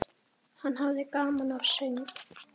Hann hafði gaman af söng.